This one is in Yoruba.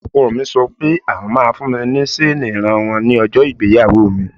Ìyá ọkọ mi sọ pé àwọn ma fún mi ní ṣeni ìran wọn ní ọjọ́ ìgbéyàwó mi.